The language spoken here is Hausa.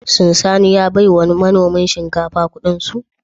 Shin Sani ya baiwa manoman shinkafa Ƙudinsu?